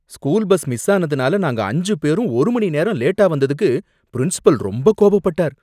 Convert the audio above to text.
School bus miss ஆனதுனால நாங்க அஞ்சு பேரும் ஒரு மணி நேரம் லேட்டா வந்ததுக்கு பிரின்சிபால் ரொம்ப கோபப்பட்டார்.